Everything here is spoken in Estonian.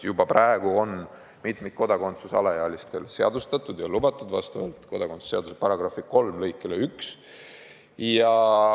Juba praegu on mitmikkodakondsus alaealistel seadustatud ja lubatud vastavalt kodakondsuse seaduse § 3 lõikele 1.